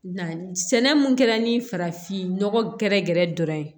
Na sɛnɛ mun kɛra ni farafinnɔgɔ gɛrɛgɛrɛ dɔrɔn ye